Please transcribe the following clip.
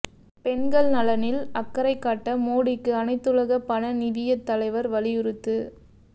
பெண்கள் நலனில் அக்கறை காட்ட மோடிக்கு அனைத்துலக பண நிதியத் தலைவர் வலியுறுத்து